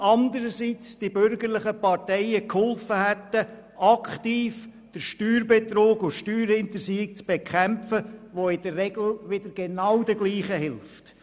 Andererseits hätten die bürgerlichen Parteien helfen können, aktiv den Steuerbetrug und die Steuerhinterziehung zu bekämpfen, die in der Regel wieder genau den Gleichen helfen.